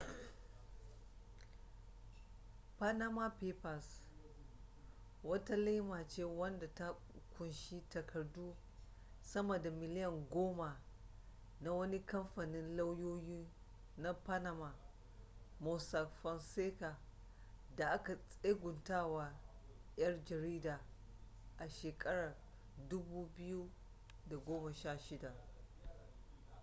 panama papers wata laima ce wadda ta kunshi takardu sama da miliyan goma na wani kamfanin lauyoyi na panama mossack fonseca da aka tseguntawa yan jarida a shekarar 2016